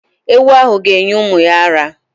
Ewu ahụ ga- enye ụmụ ya ara.